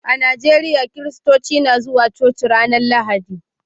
A Najeriya, Kiristoci na zuwa coci a ranar Lahadi